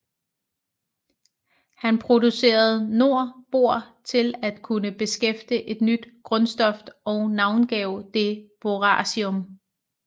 Han producerede nor bor til at kunne bekræfte et nyt grundstof og navngav det boracium